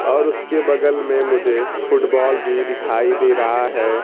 और उसके बगल में मुझे फुटबॉल भी दिखाई दे रहा है।